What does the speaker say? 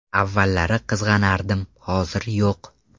Avvallari qizg‘anardim, hozir yo‘q.